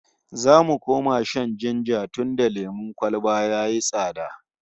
Za mu koma shan jinja tunda lemon kwalba yayi tsada